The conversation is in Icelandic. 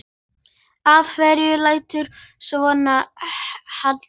Af hverju læturðu svona Haddi?